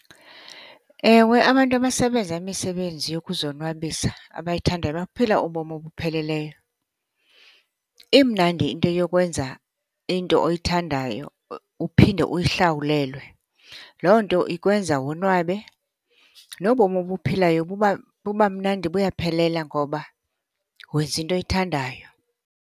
Ewe, abantu abasebenza imisebenzi yokuzonwabisa abayithandayo baphila ubomi obupheleleyo. Imnandi into yokwenza into oyithandayo uphinde uyihlawulelwe. Loo nto ikwenza wonwabe. Nobomi obuphilayo buba mnandi, buyaphelela ngoba wenza into oyithandayo.